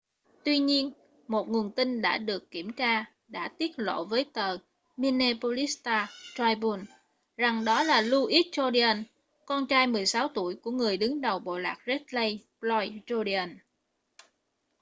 tuy nhiên một nguồn tin đã được kiểm tra đã tiết lộ với tờ minneapolis star-tribune rằng đó là louis jourdain con trai 16 tuổi của người đứng đầu bộ lạc red lake floyd jourdain